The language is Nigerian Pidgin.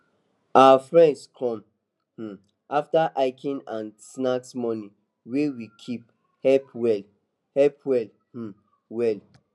our friends come um after hiking and snack money wey we keep help well help well um well